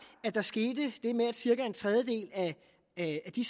at der skete det med at cirka en tredjedel af de